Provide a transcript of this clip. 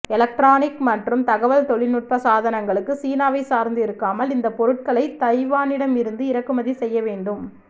electronic மற்றும் தகவல் தொழில்நுட்ப சாதனங்களுக்கு சீனாவை சார்ந்து இருக்காமல் இந்தப் பொருட்களை தைவானிடம் இருந்து இறக்குமதி செய்ய வேண்டும்